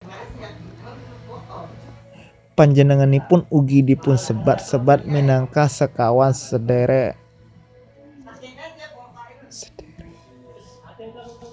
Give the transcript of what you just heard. Panjenenganipun ugi dipunsebat sebat minangka Sekawan Sedhèrèk